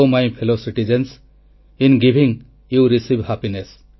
O my fellow citizens I am giving you receive happiness